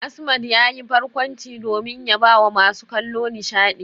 Asmad yayi barkwanci domin ya bawa masu kallo nishadi.